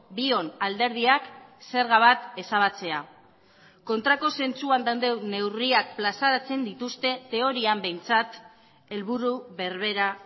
bion alderdiak zerga bat ezabatzea kontrako zentzuan dauden neurriak plazaratzen dituzte teorian behintzat helburu berbera